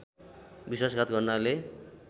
विश्वासघात गर्नाले